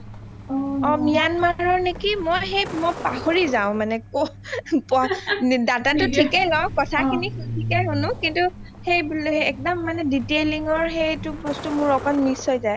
myanmar ৰ নেকি মই অ সেই মই পাহৰি যাও data টো ঠিকে লও কথা খিনি থিকেই শুনু কিন্তু সেই একদম মানে detailing ৰ সেইটো বস্তিত মোৰ অকমান miss হৈ যায়